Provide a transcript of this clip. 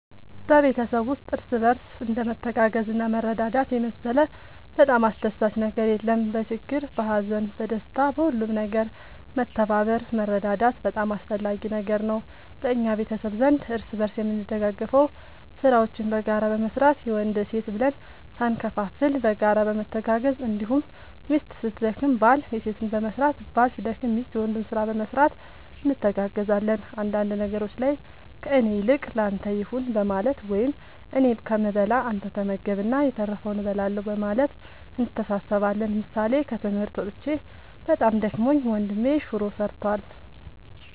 በቤተሰብ ውስጥ እርስ በርስ እንደ መተጋገዝና መረዳዳት የመሰለ በጣም አስደሳች ነገር የለም በችግር በሀዘን በደስታ በሁሉም ነገር መተባበር መረዳዳት በጣም አስፈላጊ ነገር ነው በእኛ ቤተሰብ ዘንድ እርስ በርስ የምንደጋገፈው ስራዎችን በጋራ በመስራት የወንድ የሴት ብለን ሳንከፋፈል በጋራ በመተጋገዝ እንዲሁም ሚስት ስትደክም ባል የሴትን በመስራት ባል ሲደክም ሚስት የወንዱን ስራ በመስራት እንተጋገዛለን አንዳንድ ነገሮች ላይ ከእኔ ይልቅ ለአንተ ይሁን በማለት ወይም እኔ ከምበላ አንተ ተመገብ እና የተረፈውን እበላለሁ በማለት እንተሳሰባለን ምሳሌ ከትምህርት መጥቼ በጣም ደክሞኝ ወንድሜ ሹሮ ሰርቷል።